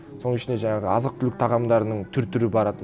соның ішінде жаңағы азық түлік тағамдарының түр түрі барады